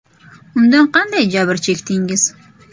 Undan qanday jabr chekdingiz?